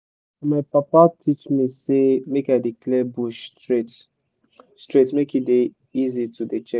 my papa teach me say make i dey clear bush straight straight make e dey easy to dey check